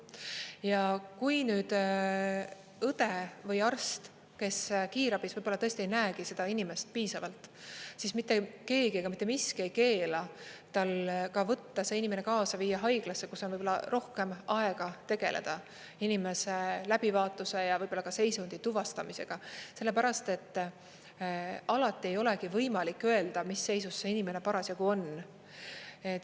Ja kui nüüd õde või arst, kes kiirabis võib-olla tõesti ei näegi seda inimest piisavalt, siis mitte keegi ega mitte miski ei keela tal ka võtta see inimene kaasa, viia haiglasse, kus on võib-olla rohkem aega tegeleda inimese läbivaatuse ja seisundi tuvastamisega, sellepärast et alati ei olegi võimalik öelda, mis seisus see inimene parasjagu on.